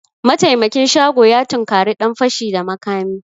Mataimakin shago ya tunkari dan fashi da makami